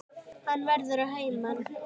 Hann verður að heiman.